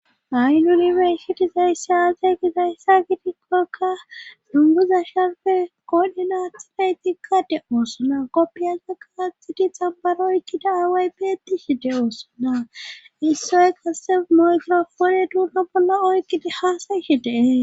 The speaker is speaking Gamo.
Hay nulibe ishidizaysse aazey gi dayssa gitikkokka dunguza shharfe kodinathana tikkade oosona koppiyalza kaaxidi xambaro ikkida aaway beeti hi de oosona issoy kasse mygorofone duunna bolla oykkida haasayishe dee